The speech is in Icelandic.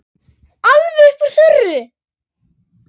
Alveg upp úr þurru?